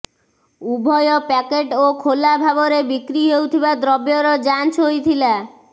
ଉଭୟ ପ୍ୟାକେଟ୍ ଓ ଖୋଲା ଭାବରେ ବିକ୍ରି ହେଉଥିବା ଦ୍ରବ୍ୟର ଯାଞ୍ଚ ହୋଇଥିଲା